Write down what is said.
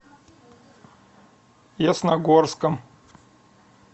ясногорском